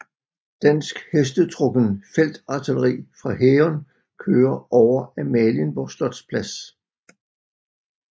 Dansk hestetrukken feltartilleri fra hæren kører over Amalienborg slotsplads